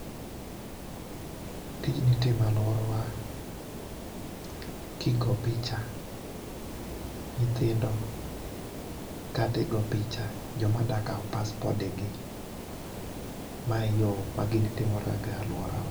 Tijni itime aluorawa kigo picha nyithindo kata igo picha joma dwa kao passpode gi, ma e yoo ma gini timore e aluorawa